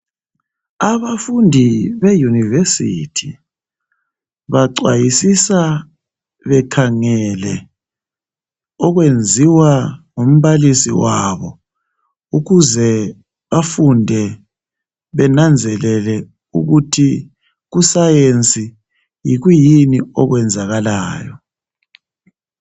Abafundi be Yunivesithi bacwayisisa bekhangele okwenziwa ngumbalisi wabo. Ukuze bafunde benanzelele ukuthi kusayensi yikwiyini okwenzakalayo.